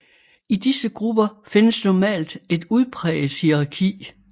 I disse grupper findes normalt et udpræget hierarki